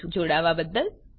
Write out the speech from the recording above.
જોડાવાબદ્દલ આભાર